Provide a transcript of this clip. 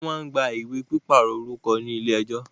Wọ́n má ń gba ìwé pípàrọ̀ orúkọ ní ilé ẹjọ́